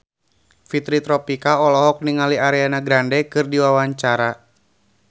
Fitri Tropika olohok ningali Ariana Grande keur diwawancara